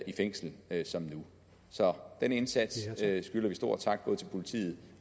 i fængsel som nu så den indsats skylder vi stor tak både til politiet